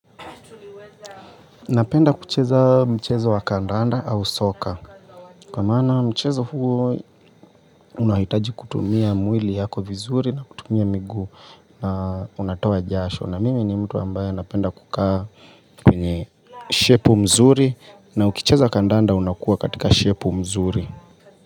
Napenda kucheza mchezo wa kandanda au soka kwa maana mchezo huo unahitaji kutumia mwili yako vizuri na kutumia miguu na unatoa jasho na mimi ni mtu ambaye napenda kukaa kwenye shepu mzuri na ukicheza kandanda unakuwa katika shepu mzuri.